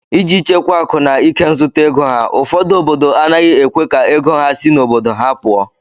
Iji chekwaa akụ na ikenzụta ego ha, ụfọdụ obodo anaghị ekwe ka ego ha si n'obodo ha pụọ